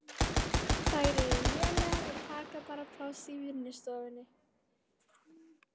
Þær eru lélegar og taka bara pláss í vinnustofunni.